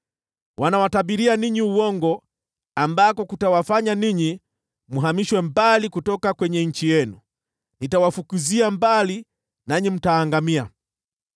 Wanawatabiria uongo ambao utawafanya ninyi mhamishwe mbali kutoka nchi yenu. Nitawafukuzia mbali, nanyi mtaangamia.